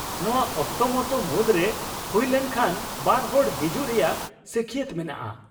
-ᱱᱚᱶᱟ ᱚᱠᱛᱚ ᱢᱚᱛᱚ ᱢᱩᱫᱨᱮ ᱦᱩᱭᱞᱮᱱ ᱠᱷᱟᱱ ᱵᱟᱨ ᱦᱚᱲ ᱦᱤᱡᱩᱜ ᱨᱮᱭᱟᱜ ᱥᱟᱹᱠᱷᱭᱟᱹᱛ ᱢᱮᱱᱟᱜᱼᱟ ᱾